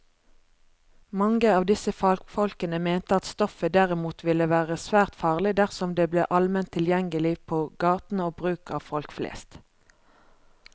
Mange av disse fagfolkene mente at stoffet derimot ville være svært farlig dersom det ble allment tilgjengelig på gaten og brukt av folk flest.